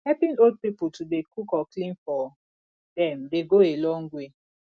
helping old pipo to dey cook or clean for dem dey go a long way